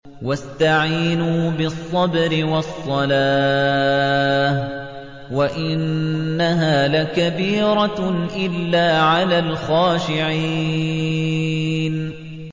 وَاسْتَعِينُوا بِالصَّبْرِ وَالصَّلَاةِ ۚ وَإِنَّهَا لَكَبِيرَةٌ إِلَّا عَلَى الْخَاشِعِينَ